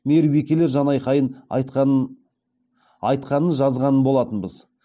мейірбикелер жанайқайын айтқанын жазған болатынбыз